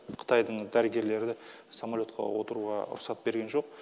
қытайдың дәрігерлері самолетқа отыруға рұқсат берген жоқ